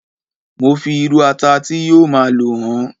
mo fi iru ata ti yíò ma lo hàn